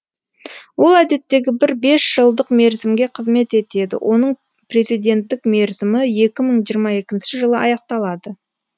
ол әдеттегі бір бес жылдық мерзімге қызмет етеді оның президенттік мерзімі екі мың жиырма екінші жылы аяқталады